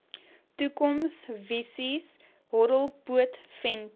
toekomsvisies horrelpoot venter